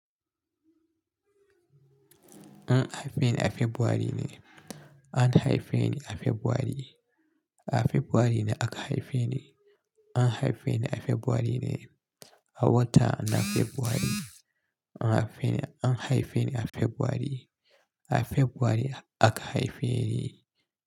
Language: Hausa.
An haife ni a February ne. An haife ni a Fabrairu. A Fabrairu ne aka haife ni. An haife ni a Fabrairu ne. A wata na February. An haife ni, an haife ni a Fabrairu. A Fabrairu aka haife ni.